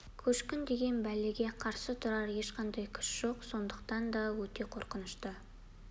көшкін деген бәлеге қарсы тұрар ешқандай күш жоқ сондықтан да өте қорқынышты